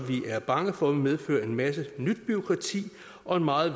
vi er bange for vil medføre en masse nyt bureaukrati og meget